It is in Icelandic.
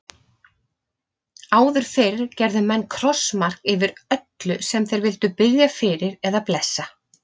Áður fyrr gerðu menn krossmark yfir öllu sem þeir vildu biðja fyrir eða blessa.